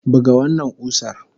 Buga wannan kusar!